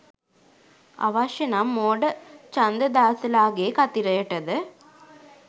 අවශ්‍ය නම් මෝඩ ඡන්දදාසලාගේ කතිරයටද